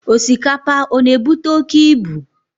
Osikapa, ọ na-ebute oke ibu?